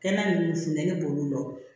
Kɛnɛ ninnu funteni b'olu la